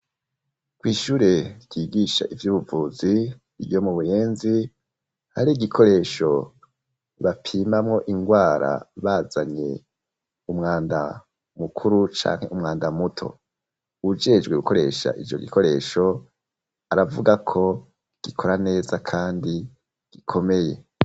KwiIshure ryigisha ivy'ubuvuzi ryo mu buyenzi hari igikoresho bapimamo indwara bazanye umwanda mukuru cane umwanda muto ujejwe gukoresha ico gikoresho aravuga ko gikora neza kandi gikomeye.